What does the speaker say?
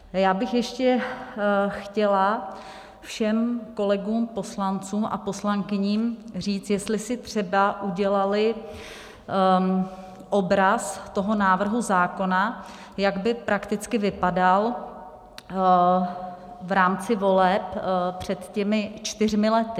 Já bych ještě chtěla všem kolegům poslancům a poslankyním říct, jestli si třeba udělali obraz toho návrhu zákona, jak by prakticky vypadal v rámci voleb před těmi čtyřmi lety.